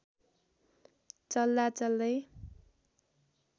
चल्दा चल्दै